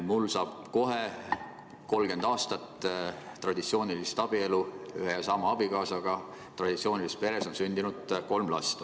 Mul saab kohe täis 30 aastat traditsioonilist abielu ühe ja sama abikaasaga, traditsioonilises peres on sündinud kolm last.